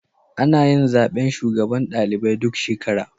Anayin zaben shugaban ɗalibai duk shekara